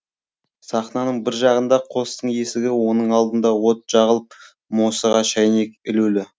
сахнаның бір жағында қостың есігі оның алдыңда от жағылып мосыға шәйнек ілулі